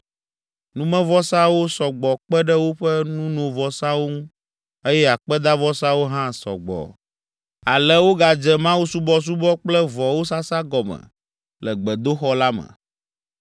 Numevɔsawo sɔ gbɔ kpe ɖe woƒe nunovɔsawo ŋu eye akpedavɔsawo hã sɔ gbɔ. Ale wogadze mawusubɔsubɔ kple vɔwo sasa gɔme le gbedoxɔ la me.